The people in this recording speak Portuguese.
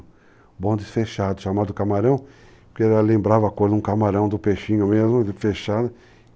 O bonde fechado, chamado camarão, porque lembrava a cor de um camarão, do peixinho mesmo, fechado.